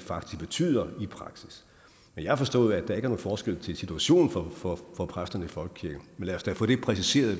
faktisk betyder i praksis jeg har forstået at der ikke er nogen forskel til situationen for for præsterne i folkekirken men lad os da få det præciseret